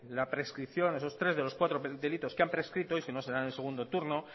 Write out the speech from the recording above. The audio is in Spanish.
la prescripción esos tres de los cuatro delitos que han prescrito y si no será en el segundo turno